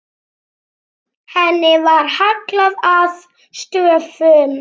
Henni var hallað að stöfum.